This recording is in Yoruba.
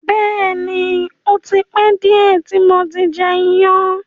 Bẹ́ẹ̀ni, ò ti pẹ diẹ ti mo ti jẹ iyan.